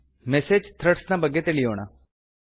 message threads ನ ಬಗ್ಗೆ ತಿಳಿಯೋಣ